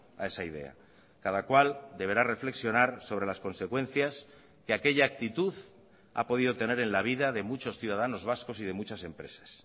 a esa idea cada cual deberá reflexionar sobre las consecuencias que aquella actitud ha podido tener en la vida de muchos ciudadanos vascos y de muchas empresas